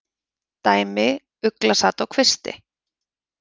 Dæmi: Ugla sat á kvisti.